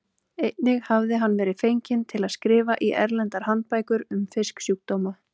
Einnig hafði hann verið fenginn til að skrifa í erlendar handbækur um fisksjúkdóma.